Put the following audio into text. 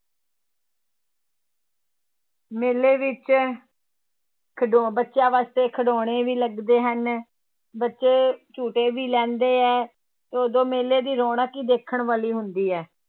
ਮੇਲੇ ਵਿੱਚ ਖਿਡੋ ਬੱਚਿਆਂ ਵਾਸਤੇ ਖਿਡੋਣੇ ਵੀ ਲੱਗਦੇ ਹਨ, ਬੱਚੇ ਝੂਟੇ ਵੀ ਲੈਂਦੇ ਹੈ ਉਦੋਂ ਮੇਲੇ ਦੀ ਰੌਣਕ ਹੀ ਦੇਖਣ ਵਾਲੀ ਹੁੰਦੀ ਹੈ